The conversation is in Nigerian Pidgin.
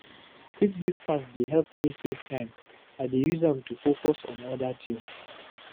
Quick breakfast dey help me save time, I dey use am to focus on other things.